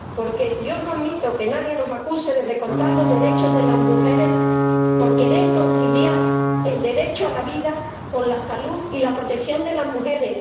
Porque yo no admito que nadie nos acuse de recortar los derechos de las mujeres por querer conciliar el derecho a la vida con la salud y la protección de las mujeres